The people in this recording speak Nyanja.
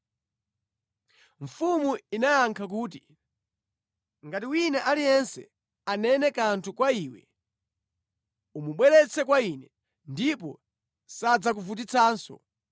Mfumu inayankha kuti, “Ngati wina aliyense anene kanthu kwa iwe, umubweretse kwa ine, ndipo sadzakuvutitsanso.”